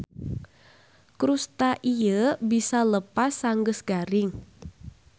Krusta ieu bisa leupas sanggeus garing.